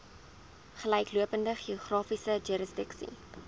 gelyklopende geografiese jurisdiksie